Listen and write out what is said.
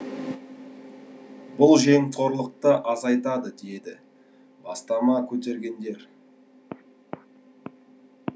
бұл жемқорлықты азайтады деді бастама көтергендер